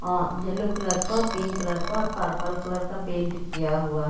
अ yellow colour का pink colour और purple colour का पेंट किया हुआ है।